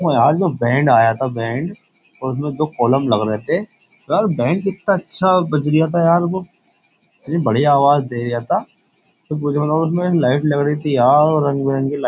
यार जो बैंड आया था बैंड और उसमें दो कॉलम लग रहे थे यार बैंड कितना अच्छा बजरिया था यार वो इतनी बढ़िया आवाज दे रहा था तो उसमें लाइट लग रही थी रंग बिरंग के --